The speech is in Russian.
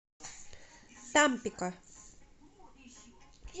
тампико